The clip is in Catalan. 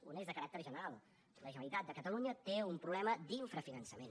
una és de caràcter general la generalitat de catalunya té un problema d’infrafinançament